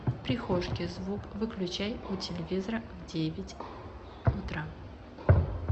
в прихожке звук выключай у телевизора в девять утра